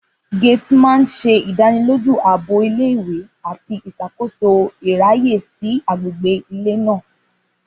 Gateman ṣe idaniloju aabo ìle-ìwe ati iṣakoso iraye si agbegbe ile naa.